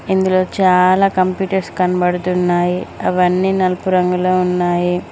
ఇందులో చాలా కంప్యూటర్స్ కనబడుతున్నాయి అవి అన్ని నలుపు రంగులో ఉన్నాయి.